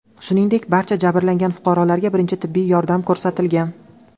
Shuningdek, barcha jabrlangan fuqarolarga birinchi tibbiy yordam ko‘rsatilgan.